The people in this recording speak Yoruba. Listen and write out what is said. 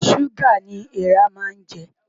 Ṣúgà ni eèrà máa ń jẹ.